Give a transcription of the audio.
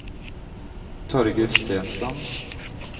Torger Stensland